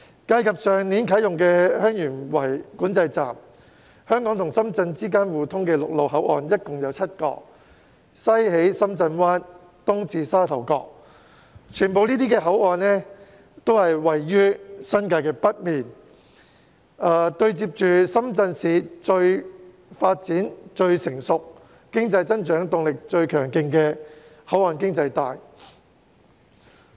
計及去年啟用的香園圍邊境管制站，香港與深圳之間互通的陸路口岸共有7個，西起深圳灣，東至沙頭角，這些口岸全部均位於新界北面，對接着深圳市發展最成熟、經濟增長動力最強勁的"口岸經濟帶"。